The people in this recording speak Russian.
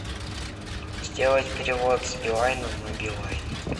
сделать перевод с билайна на билайн